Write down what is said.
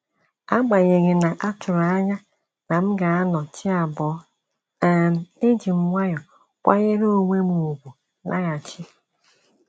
Agbanyeghi na-atụrụ anya na m ga anọ chi abọ́, um ejim nwayọọ kwanyere onwem ùgwù laghachi